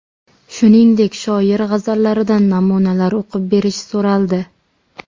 Shuningdek, shoir g‘azallaridan namunalar o‘qib berish so‘raldi.